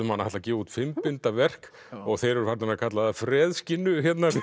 hann ætli að gefa út fimm binda verk og þeir eru farnir að kalla það